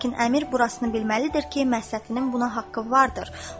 Lakin Əmir burasını bilməlidir ki, Məhsətinin buna haqqı vardır.